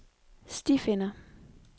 stifinder